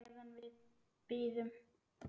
Meðan við bíðum.